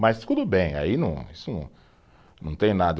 Mas tudo bem, aí não, isso não, não tem nada.